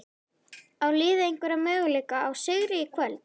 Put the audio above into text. Á liðið einhverja möguleika á sigri í kvöld?